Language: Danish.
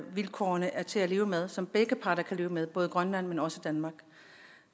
vilkårene er til at leve med som begge parter kan leve med både grønland men også danmark